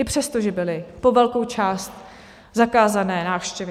I přesto, že byly po velkou část zakázané návštěvy.